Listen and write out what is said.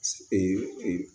Ee